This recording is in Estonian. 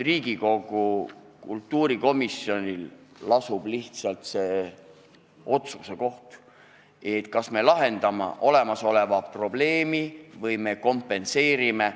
Riigikogu kultuurikomisjonil lasub nüüd see otsustamise kohustus, kas me lahendame olemasoleva probleemi või kompenseerime.